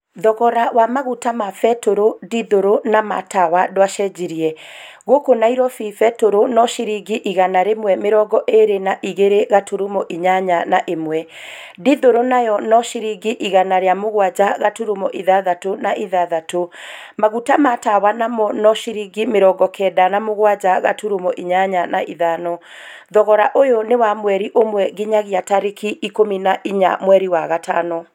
Thogora wa maguta ma betũrũ, dithũrũ na ma tawa ndwacenjirie. Gũkũ Nairobi betũrũ no ciringi igana rĩmwe mĩrongo ĩrĩ na igĩre, gaturumo inyanya na ĩmwe .Dithũrũ nayo no ciringi igana ria mũgwanja gaturumo ithathatũ na ithathatũ . Maguta ma tawa namo no ciringi mĩrongo kenda na mũgwanja gaturumo inyanya na ithano. Thogora uyu ni wa mweri ũmwe nginyagia tariki 14 mweri wa gatano.